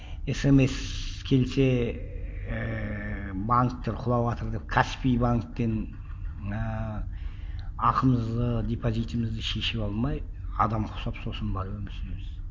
смс келсе ііі банктер құлаватыр деп каспи банктен ыыы ақымызды депозитімізді шешіп алмай адамға ұқсап сосын барып өмір сүреміз